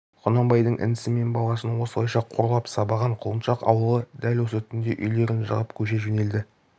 құнанбайдың інісі мен баласын осылайша қорлап сабаған құлыншақ ауылы дәл осы түнде үйлерін жығып көше жөнелді